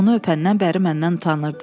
Onu öpəndən bəri məndən utanırdı.